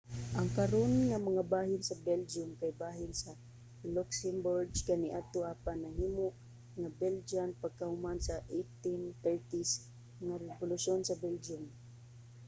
ang karon nga mga bahin sa belgium kay bahin sa luxembourg kaniadto apan nahimo nga belgian pagkahuman sa 1830s nga rebolusyon sa belgium